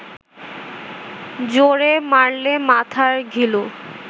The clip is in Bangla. জোরে মারলে মাথার ঘিলু